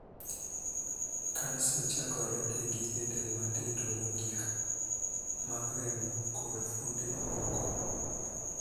Kansa chakore e gige del matindo mogik (sels) mag remo kod fuonde mamoko.